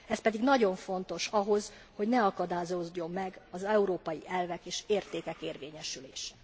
Ez pedig nagyon fontos ahhoz, hogy ne akadályozódjon meg az európai elvek és értékek érvényesülése.